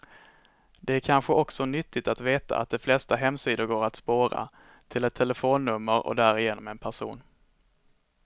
Det är kanske också nyttigt att veta att de flesta hemsidor går att spåra, till ett telefonnummer och därigenom en person.